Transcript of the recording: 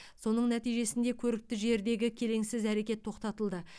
соның нәтижесінде көрікті жердегі келеңсіз әрекет тоқтатылды